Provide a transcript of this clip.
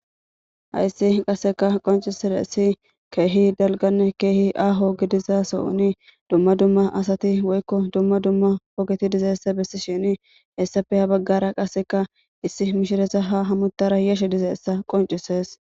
Haysi qaseka qonc'isizaysi kehi dalgane kehi aho gidiza Sohoni duma duma asati woyko duma duma ogeti dizaysa besishen hesape ha bagara issi mishiriza ha hametara yashe dizaysa qonc'ses.